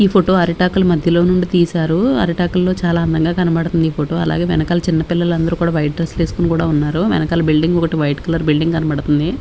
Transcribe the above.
ఈ ఫోటో అరిటాకల మధ్యలో నుండి తీశారు అరిటాకల్లో చాలా అందంగా కనబడుతుంది ఈ ఫోటో అలాగే వెనకాల చిన్న పిల్లలు అందరూ కూడా వైట్ డ్రెస్ వేసుకొని కూడా ఉన్నారు వెనకాల బిల్డింగ్ ఒకటి వైట్ కలర్ బిల్డింగ్ కనబడుతుంది.